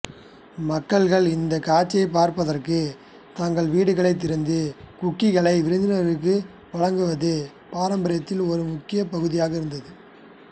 மக்கள் இந்த காட்சிகளைப் பார்ப்பதற்கு தங்கள் வீடுகளைத் திறந்து குக்கீகளை விருந்தினர்களுக்கு வழங்குவது பாரம்பரியத்தில் ஒரு முக்கிய பகுதியாக இருந்தது